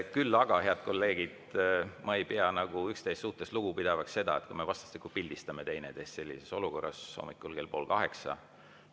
Küll aga, head kolleegid, ma ei pea üksteise suhtes lugupidavaks seda, et kui me vastastikku pildistame teineteist sellises olukorras hommikul kell pool kaheksa.